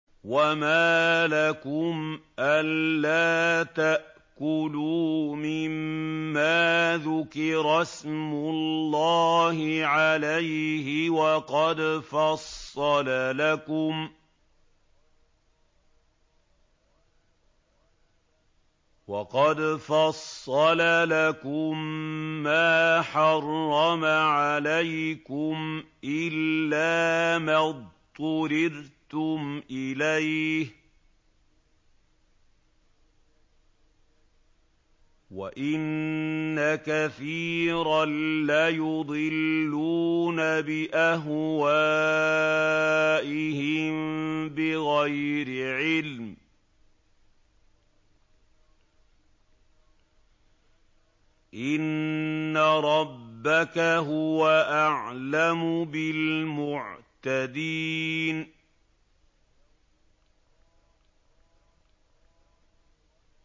وَمَا لَكُمْ أَلَّا تَأْكُلُوا مِمَّا ذُكِرَ اسْمُ اللَّهِ عَلَيْهِ وَقَدْ فَصَّلَ لَكُم مَّا حَرَّمَ عَلَيْكُمْ إِلَّا مَا اضْطُرِرْتُمْ إِلَيْهِ ۗ وَإِنَّ كَثِيرًا لَّيُضِلُّونَ بِأَهْوَائِهِم بِغَيْرِ عِلْمٍ ۗ إِنَّ رَبَّكَ هُوَ أَعْلَمُ بِالْمُعْتَدِينَ